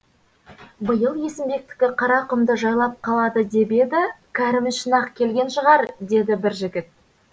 биыл есімбектікі қара құмды жайлап қалады деп еді кәрім үшін ақ келген шығар деді бір жігіт